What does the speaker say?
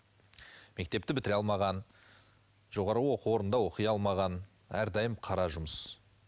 мектепті бітіре алмаған жоғары оқу орнында оқи алмаған әрдайым қара жұмыс